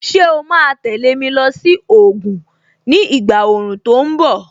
Ṣé o ma tẹ̀lé mi lọ sí Ògùn ni ìgbà òòrùn tó ń bọ̀?